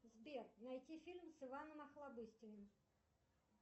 сбер найти фильм с иваном охлобыстиным